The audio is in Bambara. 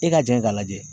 I ka jɛn k'a lajɛ